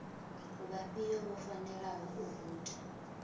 vhafhio vho fanelaho u voutha